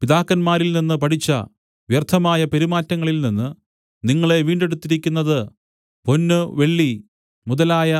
പിതാക്കന്മാരിൽനിന്ന് പഠിച്ച വ്യർത്ഥമായ പെരുമാറ്റങ്ങളിൽ നിന്ന് നിങ്ങളെ വീണ്ടെടുത്തിരിക്കുന്നത് പൊന്ന് വെള്ളി മുതലായ